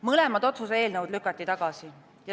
Mõlemad otsuse eelnõud lükati tagasi.